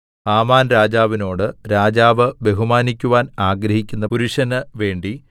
Haman രാജാവിനോട് രാജാവ് ബഹുമാനിക്കുവാൻ ആഗ്രഹിക്കുന്ന പുരുഷന് വേണ്ടി